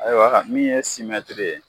Ayiwaka min ye simɛtiri ye